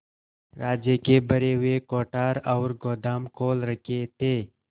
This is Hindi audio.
राज्य के भरे हुए कोठार और गोदाम खोल रखे थे